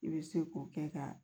I bɛ se k'o kɛ ka